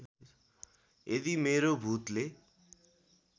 यदि मेरो भुतले